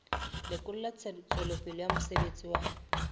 lekola tswelopele ya mosebetsi wa